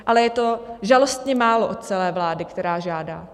Ale je to žalostně málo od celé vlády, která žádá.